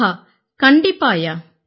ஆஹா கண்டிப்பாய்யா